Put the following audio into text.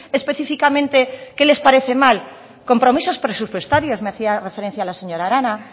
específicamente qué les parece mal compromisos presupuestarios me hacía referencia la señora arana